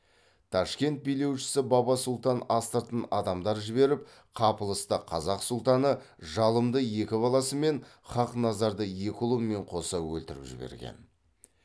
ташкент билеушісі баба сұлтан астыртын адамдар жіберіп қапылыста қазақ сұлтаны жалымды екі баласымен хақназарды екі ұлымен қоса өлтіріп жіберген